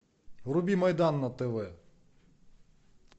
вруби майдан на тв